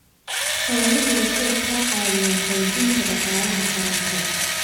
Xooluhu waxay ka caawiyaan xoojinta dhaqaalaha qaranka.